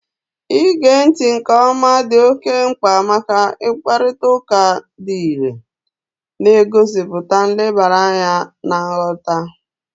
Ige ntị nke ọma dị oke mkpa maka mkparịta ụka dị irè, na-egosipụta nlebara anya na nghọta